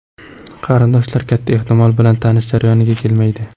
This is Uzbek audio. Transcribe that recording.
Qarindoshlar, katta ehtimol bilan, tanish jarayoniga kelmaydi.